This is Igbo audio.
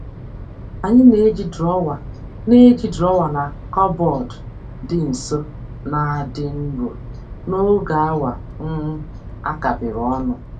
Anyị na-eji drọwa na na-eji drọwa na kọbọd dị nso na-adị nro n'oge awa um a kapịrị ọnụ.